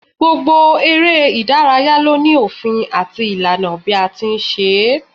Gbogbo eré ìdárayá ló ní òfin àti ìlànà bí a ti ń ṣe é